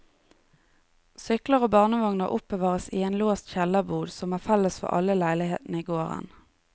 Sykler og barnevogner oppbevares i en låst kjellerbod som er felles for alle leilighetene i gården.